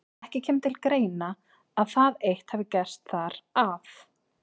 Ekki kemur til greina, að það eitt hafi gerst þar, að